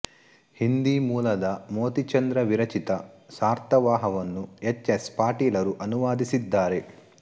ಹಿಂದಿ ಮೂಲದ ಮೋತಿಚಂದ್ರ ವಿರಚಿತ ಸಾರ್ಥವಾಹವನ್ನು ಎಚ್ ಎಸ್ ಪಾಟೀಲರು ಅನುವಾದಿಸಿದ್ದಾರೆ